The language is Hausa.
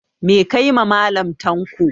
Meh ka yi ma Mallam tanko?